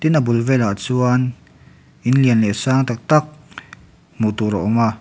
tin a bul vel ah chuan in lian leh sang tak tak hmuh tur a awm a.